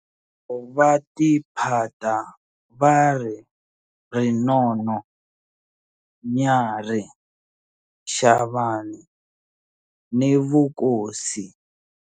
Va tiphata va ri Rinono, Nyarhi, Shavani ni vukosi.